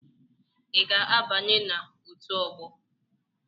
Ị ga-abanye na otu ọgbọ?